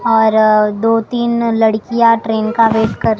अर दो तीन लड़कियां ट्रेन का वेट कर--